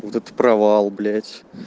вот это провал блять